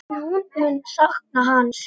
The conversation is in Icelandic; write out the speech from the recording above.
Myndin féll samt á borðið.